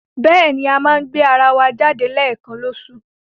Bẹ́ẹ̀ni, a máa ń gbéra wa jáde léẹ̀kan lóṣoòṣù.